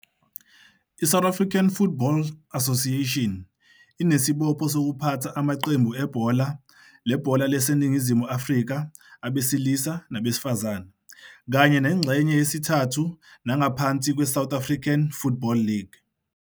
I-South African Football Association inesibopho sokuphatha amaqembu ebhola lebhola laseNingizimu Afrika, abesilisa nabesifazane, kanye nengxenye yesithathu nangaphansi kweSouth African Football League.